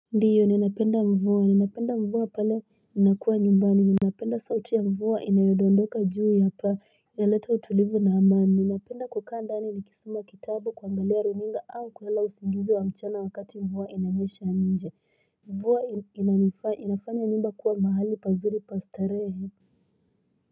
Ndiyo, ninapeenda mvua. Ninapeenda mvua pale, ninakuwa nyumbani. Ninapeenda sauti ya mvua inayodondoka juu ya pa. Na letao tulivu namaan. Ninapeenda kukanda nini kisuma kitabu kwa ngaliaruninga au kwa lausingudu wa mchiana wakati mvua inayesha ninja. Mvua inanifaa, inafanya nimba kwa mahali pazuli pastarehe.